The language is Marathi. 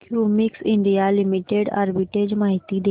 क्युमिंस इंडिया लिमिटेड आर्बिट्रेज माहिती दे